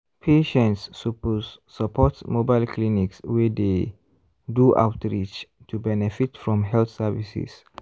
patients suppose support mobile clinics wey dey do outreach to benefit from health services.